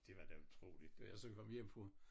Det var da utroligt da jeg så kom hjem fra